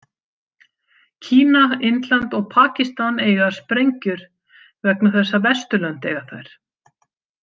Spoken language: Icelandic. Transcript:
Kína, Indland og Pakistan eiga sprengjur vegna þess að Vesturlönd eiga þær.